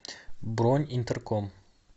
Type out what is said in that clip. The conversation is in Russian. бронь интерком